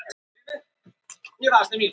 Sögnin að kúvenda er ekki gömul í málinu.